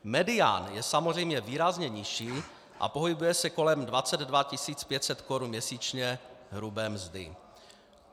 Medián je samozřejmě výrazně nižší a pohybuje se kolem 22 500 korun měsíčně hrubé mzdy.